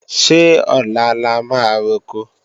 Ṣé ọ̀la la máa roko?